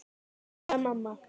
Elsku Adda, mamma.